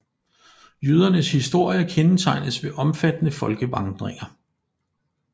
Jødernes historie kendetegnes ved omfattende folkevandringer